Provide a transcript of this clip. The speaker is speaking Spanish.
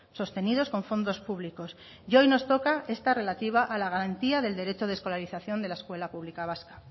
sostenidos con fondos públicos y hoy nos toca esta relativa a la garantía del derecho de escolarización de la escuela pública vasca